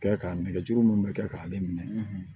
Kɛ k'a nɛgɛjuru minnu bɛ kɛ k'ale minɛ